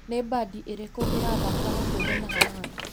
Nĩ mbandi irĩko iratha hakuhĩ na haha?